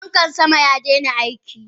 Fankan sama yadaina aiki.